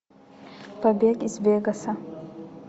побег из вегаса